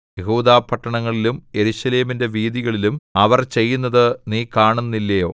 യെഹൂദാപട്ടണങ്ങളിലും യെരൂശലേമിന്റെ വീഥികളിലും അവർ ചെയ്യുന്നത് നീ കാണുന്നില്ലയോ